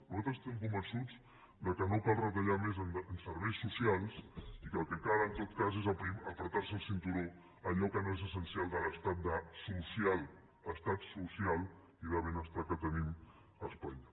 nosaltres estem convençuts que no cal retallar més en serveis socials i que el que cal en tot cas és estrènyer se el cinturó en allò que no és essencial de l’estat social estat social i de benestar que tenim a espanya